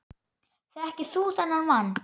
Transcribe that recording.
Þekkir þú þennan mann?